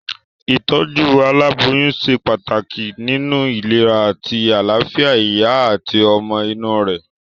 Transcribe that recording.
Ìtójú aláboyún se pàtàkì nínu ìlera àti àláfìa ìyá àti ọmọ inú rè